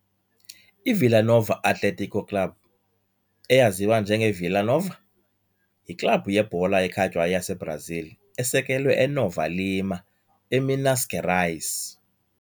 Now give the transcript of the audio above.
IVilla Nova Atlético Clube, eyaziwa njengeVilla Nova, yiklabhu yebhola ekhatywayo yaseBrazil esekelwe eNova Lima, eMinas Gerais.